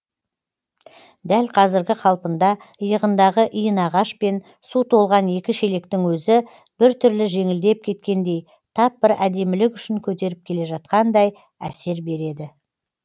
дәл қазіргі қалпында иығындағы иінағаш пен су толған екі шелектің өзі біртүрлі жеңілдеп кеткендей тап бір әдемілік үшін көтеріп келе жатқандай әсер береді